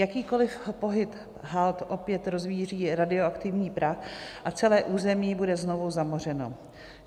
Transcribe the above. Jakýkoliv pohyb hald opět rozvíří radioaktivní prach a celé území bude znovu zamořeno.